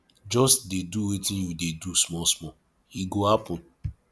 just dey do wetin you dey do small small e go happen